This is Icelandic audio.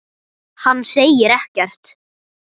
Hann segir ekkert.